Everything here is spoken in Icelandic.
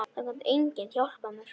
Það gat enginn hjálpað mér.